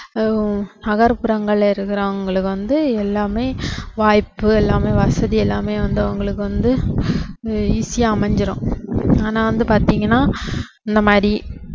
ஹம் நகர்புறங்கள்ல இருக்குறவங்களுக்கு வந்து எல்லாமே வாய்ப்பு எல்லாமே வசதி எல்லாமே வந்து அவங்களுக்கு வந்து ஹம் easy ஆ அமைஞ்சுரும் ஆனா வந்து பாத்தீங்கன்னா இந்த மாதிரி